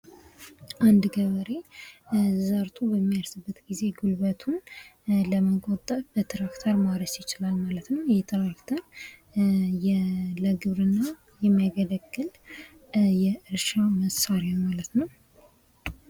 አንድ ገበሬ ዘርቶ በሚያርስበት ጊዜ ጉልበቱን ለመቆጠብ ትራክተር መጠቀም ይችላል ማለት ነው። ይህ ለግብርና የሚያገለግል የእርሻ መሳሪያ ነው።